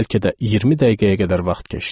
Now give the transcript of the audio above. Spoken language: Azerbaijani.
Bəlkə də 20 dəqiqəyə qədər vaxt keçdi.